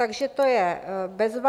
Takže to je bezva.